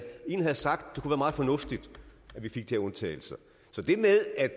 sagt at meget fornuftigt at vi fik de her undtagelser så